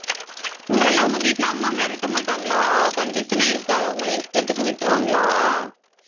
உங்களை எல்லாம் உங்க வீட்டுல அம்மா மிரட்ட மாட்டாங்களா condition ஏ இருக்காது. உங்களை இஷ்டத்துக்கு விட்டுருவாங்களா